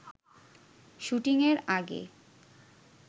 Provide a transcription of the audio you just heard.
শুটিংয়ের আগে